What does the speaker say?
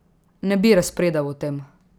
Ne bi razpredal o tem!